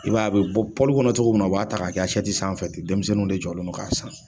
I b'a ye a bɛ bɔ pɔli kɔnɔ cogo min na, a b'a ta k'a kɛ sanfɛ denmisɛnninw de jɔlen don k'a san.